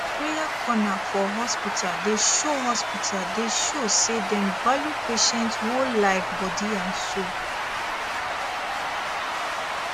prayer corner for hospital dey show hospital dey show say dem value patient whole life body and soul